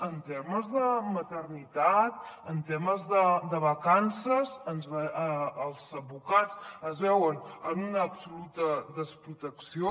en temes de maternitat en temes de vacances els advocats es veuen en una absoluta desprotecció